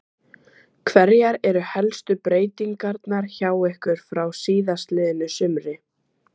Hverjar eru helstu breytingarnar hjá ykkur frá síðastliðnu sumri?